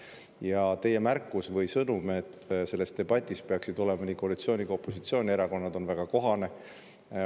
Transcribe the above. Ja teie märkus või sõnum, et selles debatis peaksid olema nii koalitsiooni‑ kui ka opositsioonierakonnad, on väga kohane.